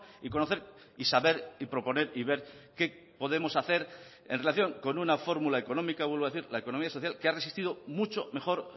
y conocer y saber y proponer y ver qué podemos hacer en relación con una fórmula económica vuelvo a decir la economía social que ha resistido mucho mejor